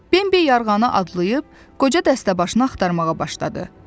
Bembi yarğanı adlayıb qoca dəstəbaşını axtarmağa başladı.